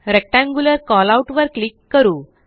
rectangular callout वर click करू